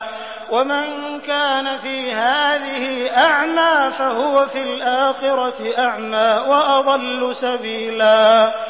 وَمَن كَانَ فِي هَٰذِهِ أَعْمَىٰ فَهُوَ فِي الْآخِرَةِ أَعْمَىٰ وَأَضَلُّ سَبِيلًا